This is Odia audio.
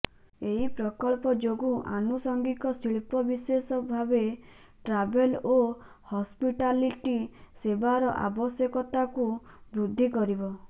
ଏହି ପ୍ରକଳ୍ପ ଯୋଗୁଁ ଆନୁଷଙ୍ଗିକ ଶିଳ୍ପ ବିଶେଷ ଭାବେ ଟ୍ରାଭେଲ୍ ଓ ହସ୍ପିଟାଲିଟି ସେବାର ଆବଶ୍ୟକତାକୁ ବୃଦ୍ଧି କରିବ